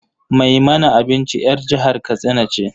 Mai mana abinci 'yar jihar katsina ce.